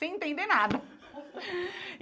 Sem entender nada.